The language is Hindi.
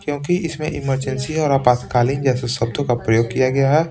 क्योंकि इसमें इमरजेंसी और आपातकालीन जैसे शब्दों का प्रयोग किया गया है।